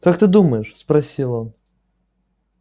как ты думаешь спросил он